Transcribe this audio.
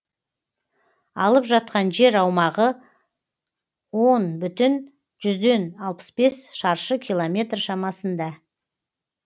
алып жатқан жер аумағы он бүтін жүзден алпыс бес шаршы километр шамасында